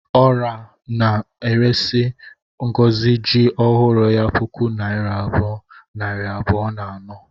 Ora na-eresi Ngozi ji ọhụrụ ya puku naira abụọ, nari abụọ na anọ